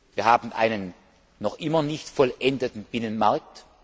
Wir haben einen noch immer nicht vollendeten Binnenmarkt.